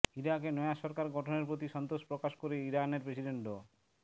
ইরাকে নয়া সরকার গঠনের প্রতি সন্তোষ প্রকাশ করে ইরানের প্রেসিডেন্ট ড